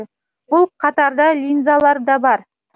бұл қатарда линзалар да бар